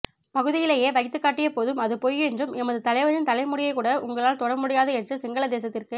பகுதியிலே வைத்துக்காட்டியபோதும் அது பொய் என்றும் எமது தலைவனின் தலைமுடியினைக்கூட உங்களால்த்தொடமுடியாது என்று சிங்களதேசத்திற்கு